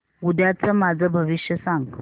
उद्याचं माझं भविष्य सांग